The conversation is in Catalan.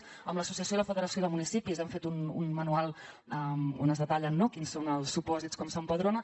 amb l’associació de municipis i la federació de municipis hem fet un manual on es detallen quins són els supòsits com s’empadrona